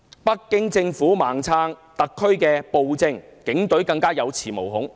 北京政府"盲撐"特區暴政，警隊更加有恃無恐。